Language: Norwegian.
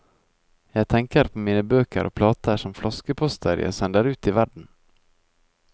Jeg tenker på mine bøker og plater som flaskeposter jeg sender ut i verden.